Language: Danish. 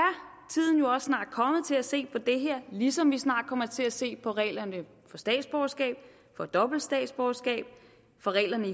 nu er snart kommet til at se på det her ligesom vi snart kommer til at se på reglerne for statsborgerskab og dobbelt statsborgerskab og for reglerne